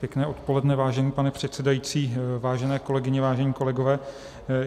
Pěkné odpoledne, vážený pane předsedající, vážené kolegyně, vážení kolegové.